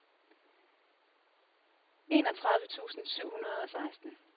enogtredive tusind syv hundrede og seksten